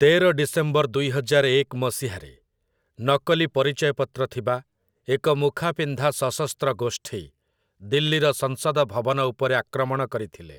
ତେର ଡିସେମ୍ବର ଦୁଇହଜାର ଏକ ମସିହାରେ, ନକଲି ପରିଚୟପତ୍ର ଥିବା, ଏକ ମୁଖାପିନ୍ଧା ସଶସ୍ତ୍ର ଗୋଷ୍ଠୀ, ଦିଲ୍ଲୀର ସଂସଦ ଭବନ ଉପରେ ଆକ୍ରମଣ କରିଥିଲେ ।